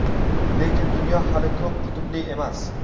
lekin dunyo hali ko‘p qutbli emas.